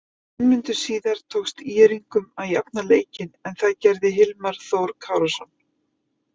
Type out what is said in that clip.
Fimm mínútum síðar tókst ÍR-ingum að jafna leikinn en það gerði Hilmar Þór Kárason.